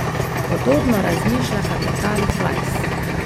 Podobno razmišlja kapetan Flajs.